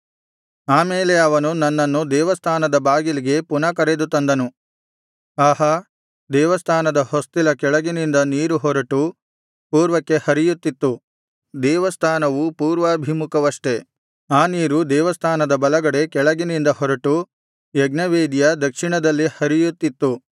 ಆಮೇಲೆ ಅವನು ನನ್ನನ್ನು ದೇವಸ್ಥಾನದ ಬಾಗಿಲಿಗೆ ಪುನಃ ಕರೆದು ತಂದನು ಆಹಾ ದೇವಸ್ಥಾನದ ಹೊಸ್ತಿಲ ಕೆಳಗಿನಿಂದ ನೀರು ಹೊರಟು ಪೂರ್ವಕ್ಕೆ ಹರಿಯುತ್ತಿತ್ತು ದೇವಸ್ಥಾನವು ಪೂರ್ವಾಭಿಮುಖವಷ್ಟೆ ಆ ನೀರು ದೇವಸ್ಥಾನದ ಬಲಗಡೆ ಕೆಳಗಿನಿಂದ ಹೊರಟು ಯಜ್ಞವೇದಿಯ ದಕ್ಷಿಣದಲ್ಲಿ ಹರಿಯುತ್ತಿತ್ತು